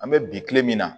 An bɛ bi kile min na